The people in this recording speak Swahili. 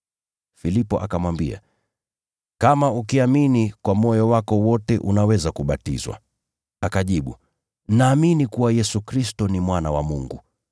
Filipo akamwambia, “Kama ukiamini kwa moyo wako wote unaweza kubatizwa.” Akajibu, “Naamini kuwa Yesu Kristo ni Mwana wa Mungu.”]